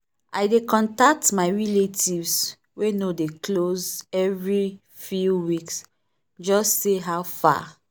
i dey contact my relatives wey no dey close every few weeks just say how fa?